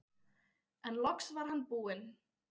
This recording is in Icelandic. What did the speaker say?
En loks var hann búinn.